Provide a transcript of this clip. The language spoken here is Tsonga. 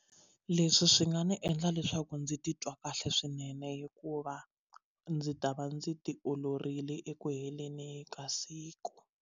Leswi swi nga ndzi endla leswaku ndzi titwa kahle swinene hikuva ndzi ta va ndzi ti oloverile eku heleni ka siku.